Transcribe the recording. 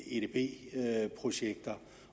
edb projekter